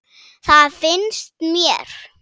Það finnst mér.